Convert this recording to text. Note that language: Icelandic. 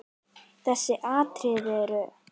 Þessi atriði eru